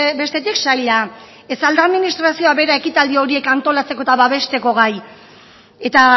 bestetik saila ez al da administrazio bera ekitaldi horiek antolatzeko eta babesteko gai eta